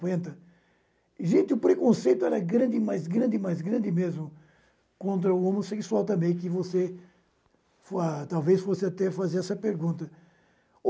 quenta. Gente, o preconceito era grande, mas grande, mas grande mesmo contra o homossexual também que você, que você for a talvez fosse até fazer essa pergunta.